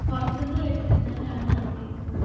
പുറത്തുനിന്ന് മേടിച്ച് തിന്നാനാണ് ആഗ്രഹിക്കുന്നത്.